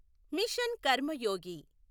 machine Karmayogi